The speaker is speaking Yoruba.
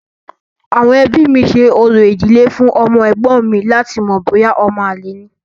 Àwọn ẹbí mi ṣe orò ìdílé fún ọmọ ẹ̀gbọ́n mi láti mọ̀ bóyá ọmọ àlè ni.